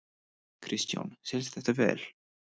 Kristján: Selst þetta vel?